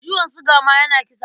Ciwon suga ma yana kisa.